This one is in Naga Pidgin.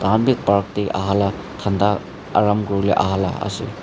ambi park de aahala thanda aram kuribole aaha la ase.